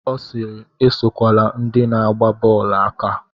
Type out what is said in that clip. Ọ sịịrị, esokwala ndị na-agba bọọlụ aka.